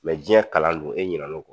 jiyɛn kalan dun e ɲinɛna